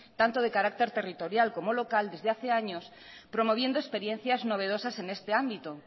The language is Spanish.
tanto de carácter territorial como local desde hace años promoviendo experiencias novedosas en este ámbito